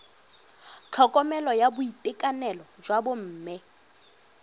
tlhokomelo ya boitekanelo jwa bomme